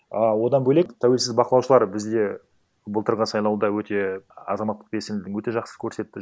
ы одан бөлек тәуелсіз бақылаушылар бізде былтырғы сайлауда өте азаматтық белсенділігін өте жақсы көрсетті